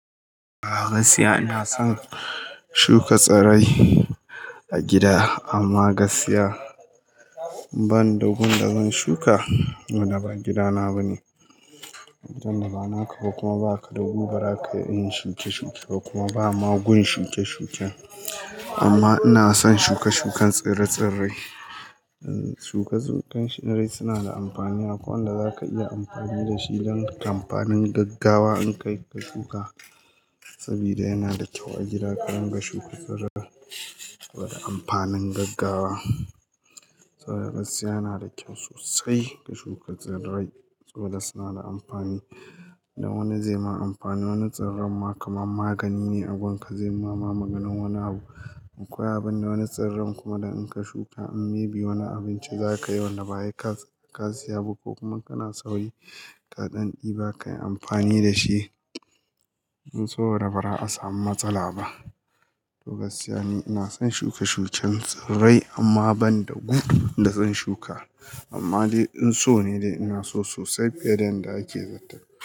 A gaskiya ina son shuka tsirrai. A gida amma gaskiya banda gun da zan shuka, tunda ba gida na ba ne. Gidan da ba naka ba kuma ba ka gun da zaka yi shuke-shuke kuma ba magun shuke-shuke. Amma ina son shuka shukan tsire-tsirrai. Shuka tsire-tsirrai suna da amfani. Akwai wanda za ka iya amfani da shi don kamfanin gaggawa in ka shuka saboda yana da kyau a gida ka dinga shuka tsirrai suna da amfani gaggawa. Gaskiya yana da kyau sosai ka shuka tsirrai suna da amfani. Da wani zai ma amfani, wani tsirran ma kaman magani ne a gunka zai ma maganin wani abu. Akwai abin da wani tsirran kuma da in ka shuka an maybe wani abinci za ka yi wanda ba sai ka siya ba ko kuma kana sauyi ka ɗan ɗiba ka yi amfani da shi. Saboda ba za'a samu matsala ba. To gaskiya ne ina son shuke-shuken tsirrai amma banda gun da zan shuka. Amma dai in so ne dai ina so sosai fiye da yanda ake zaton.